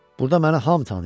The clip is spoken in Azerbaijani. Burda məni hamı tanıyır.